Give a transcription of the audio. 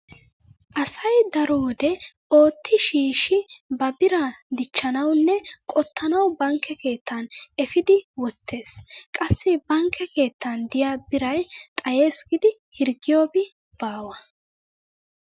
Asay daro wode ootti shiishshi ba biraa dichchanawunne qottanawu bankke keettan efidi wottees. Qassi bankke keettan diya biray xayees giidi hirggiyobi baawa.